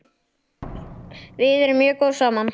Við erum mjög góð saman.